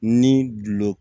Ni gulɔ